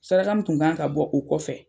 Saraka minntun kan ka bɔ o kɔfɛ,